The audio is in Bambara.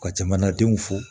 Ka jamanadenw fo